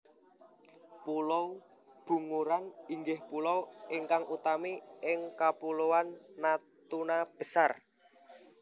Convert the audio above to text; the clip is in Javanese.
Pulo Bunguran inggih pulo ingkang utami ing Kapuloan Natuna Besar